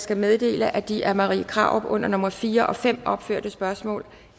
skal meddele at de af fru marie krarup under nummer fire og fem opførte spørgsmål